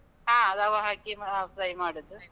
ಹಾ, ರವ ಹಾಕಿ ಮಾ fry ಮಾಡುದು.